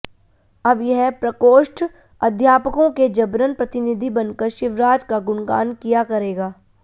अब यह प्रकोष्ठ अध्यापकों के जबरन प्रतिनिधि बनकर शिवराज का गुणगान किया करेगा